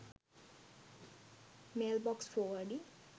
mailbox forwarding